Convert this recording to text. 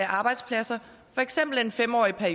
arbejdspladser